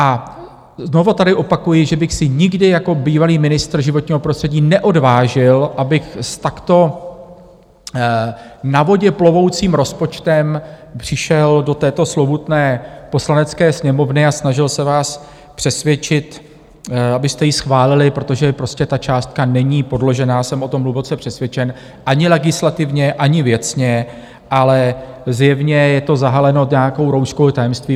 A znovu tady opakuji, že bych se nikdy jako bývalý ministr životního prostředí neodvážil, abych s takto na vodě plovoucím rozpočtem přišel do této slovutné Poslanecké sněmovny a snažil se vás přesvědčit, abyste ji schválili, protože prostě ta částka není podložená, jsem o tom hluboce přesvědčen, ani legislativně, ani věcně, ale zjevně je to zahaleno nějakou rouškou tajemství.